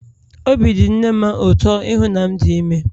Obi dị nne m ụtọ ịhụ na m dị ime